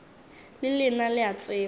le lena le a tseba